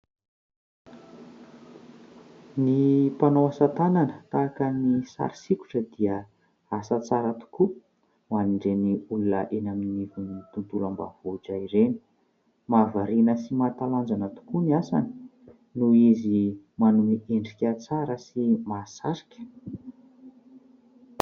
Ny mpanao asatanana tahaka ny sary sokitra dia asa tsara tokoa ho an'ireny olona eny anivon'ny tontolo ambanivohitra ireny. Mahavariana sy mahatalanjona tokoa ny asany noho izy manome endrika tsara sy mahasarika.